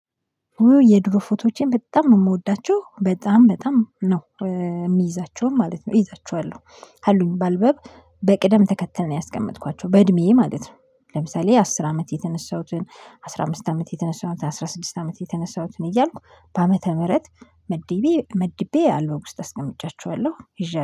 የድሮ ፎቶዎቼን በጣም ነው የምወዳቸው በጣም በጣም ነው። የሚይዛቸውን ማለት ነው እይዛቸዋለሁ አሉኝ በአልበም በቅደም ተከተል ነው ያስቀመጥኳቸው በእድሜዬ ማለት ነው። ለምሳሌ አስር አመት የተነሳሁትን አስራ አምስት አመት የተነሳሁትን አስራ ስድስት አመት የተነሳሁትን እያልኩ በአመተ ምህረት መድቤ መድቤ አልበም ውስጥ አስቀምጫቸዋለሁ። ይዤ